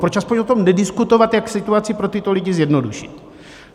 Proč aspoň o tom nediskutovat, jak situaci pro tyto lidi zjednodušit?